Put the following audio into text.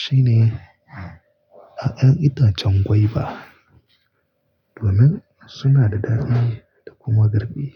shine 'ya'yan itacen gwaiba domin suna da daɗi da kuma garbi.